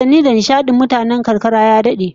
Wasanni da nishadin mutanen karkara ya dade